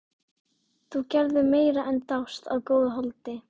Þú gerðir meira en dást að góðu holdi.